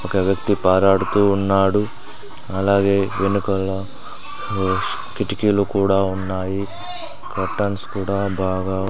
ఒక వ్యక్తి పారుడుతూ ఉన్నాడు అలాగే వెనకాల కిటికీలు కూడా ఉన్నాయి కర్టెన్స్ కూడా బాగా --